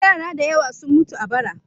Yara da yawa sun mutu a bara.